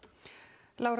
Lára